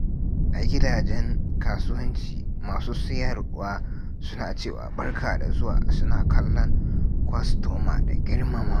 A gidajen kasuwanci, masu siyarwa suna cewa "Barka da zuwa" suna kallon kwastoma da girmamawa.